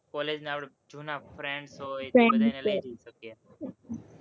college ના આપણા જુના friends હોય, તો એને લઇ જઈ શકીએ